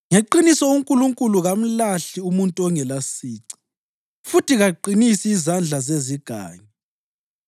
Ngeqiniso uNkulunkulu kamlahli umuntu ongelasici futhi kaqinisi izandla zezigangi.